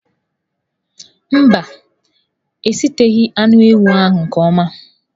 Mba, a eshiteghi anụ ewu ahụ nke ọma.